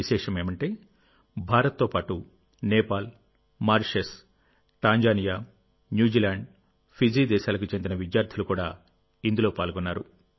విశేషమేమిటంటే భారత్తో పాటు Nepal Mauritius Tanzania New Zealand Fiji దేశాలకు చెందిన విద్యార్థులు కూడా ఇందులో పాల్గొన్నారు